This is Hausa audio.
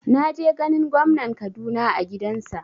Na je ganin gwamnan Kaduna a gidansa